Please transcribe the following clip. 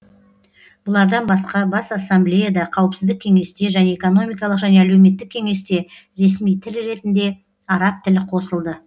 бұлардан басқа бас ассамблеяда қауіпсіздік кеңесте және экономикалық және әлеуметтік кеңесте ресми тіл ретінде араб тілі қосылды